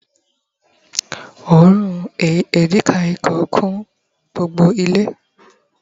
òórùn edikaikong kún gbogbo ile